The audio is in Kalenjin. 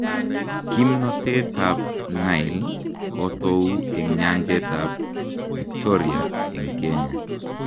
Kimnotee kab Nile kotou eng nyanjet ab Victoria eng Kenya